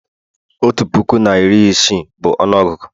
otu puku na iri isii bụ ọnụọgụgụ